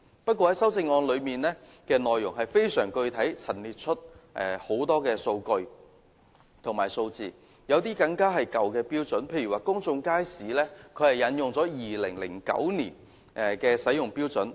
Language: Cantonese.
不過，他的修正案內容非常具體地陳列出很多數據及數字，有些更是用了舊的標準，例如在公眾街市方面他是引用了2009年使用的標準。